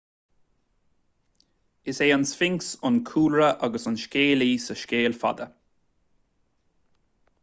is é an sphinx an cúlra agus an scéalaí sa scéal fada